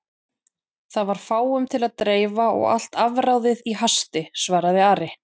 Það var fáum til að dreifa og allt afráðið í hasti, svaraði Ari.